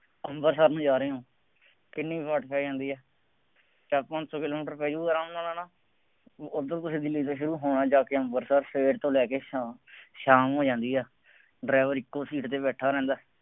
ਅੰਮ੍ਰਿਤਸਰ ਨੂੰ ਜਾ ਰਹੇ ਹਾਂ। ਕਿੰਨੀ ਕੁ ਵਾਟ ਪੈ ਜਾਂਦੀ ਹੈ। ਚਾਰ ਪੰਜ ਸੌ ਕਿਲੋਮੀਟਰ ਪੈ ਜਾਊਗਾ ਆਰਾਮ ਨਾਲ ਹੈ ਨਾ, ਉੱਧਰ ਤੁਸੀਂ ਦਿੱਲੀ ਬੈਠੇ ਹੋ, ਹੁਣ ਜਾ ਕੇ ਅੰਮ੍ਰਿਤਸਰ ਸਵੇਰ ਤੋਂ ਲੈ ਕੇ ਸ਼ਾਮ ਤੱਕ, ਸ਼ਾਮ ਹੋ ਜਾਂਦੀ ਹੈ, ਡਰਾਈਵਰ ਇੱਕੋ ਸੀਟ ਤੇ ਬੈਠਾ ਰਹਿੰਦਾ।